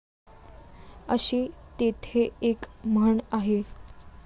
अशी तेथे एक म्हण आहे.